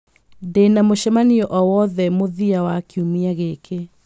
ndĩ na mũcemanio o wothe mũthia wa kiumia gĩkĩ